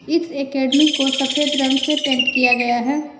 इस एकेडमी को सफेद रंग से पेंट किया गया है।